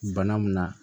Bana mun na